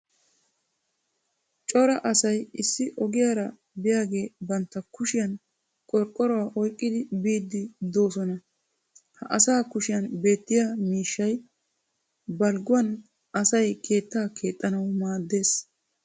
cora asay issi ogiyaara biyaage dioyaage bantta kushshiyan qorqqoruwaa oyqqidi biidi beetoosona. ha asaa kushshiyan beetiya miishshay balgguwan asay keettaa keexxanawu maadees.